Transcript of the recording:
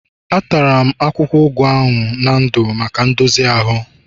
Atara m akwụkwọ ugu ahụ na ndụ maka ndozi ahụ